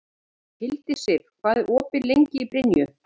Hildisif, hvað er opið lengi í Brynju?